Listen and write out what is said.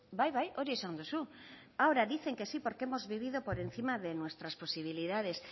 bai bai hori esan duzu ahora dicen que sí porque hemos vivido por encima de nuestras posibilidades